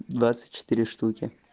двадцать четыре штуки